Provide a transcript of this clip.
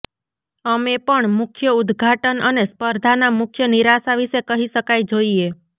અમે પણ મુખ્ય ઉદઘાટન અને સ્પર્ધાના મુખ્ય નિરાશા વિશે કહી શકાય જોઈએ